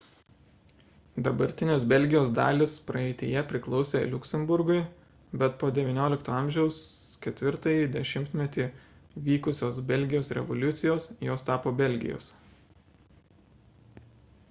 dabartinės belgijos dalys praeityje priklausė liuksemburgui bet po xix a 4-ąjį dešimtmetį vykusios belgijos revoliucijos jos tapo belgijos